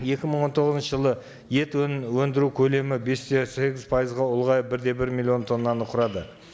екі мың он тоғызыншы жылы ет өндіру көлемі бес те сегіз пайызға ұлғайып бір де бір миллион тоннаны құрады